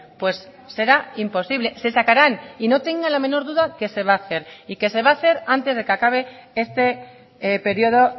pues será imposible se sacarán y no tenga la menor duda que se va a hacer y que se va a hacer antes de que se acabe este periodo